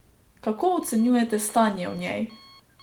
Kako ocenjujete stanje v njej?